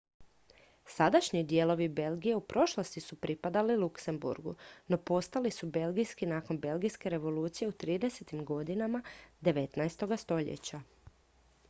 sadašnji dijelovi belgije u prošlosti su pripadali luksemburgu no postali su belgijski nakon belgijske revolucije u 30-tim godinama 19. stoljeća